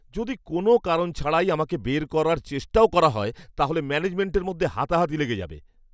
যদি কোনও কারণ ছাড়াই আমাকে বের করার চেষ্টাও করা হয়, তাহলে ম্যানেজমেন্টের মধ্যে হাতাহাতি লেগে যাবে!